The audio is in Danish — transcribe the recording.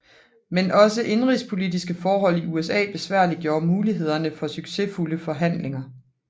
Men også indenrigspolitiske forhold i USA besværliggjorde mulighederne for succesfulde forhandlinger